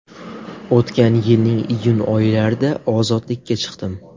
O‘tgan yilning iyun oylarida ozodlikka chiqdim.